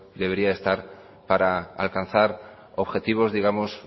debería estar para alcanzar objetivos digamos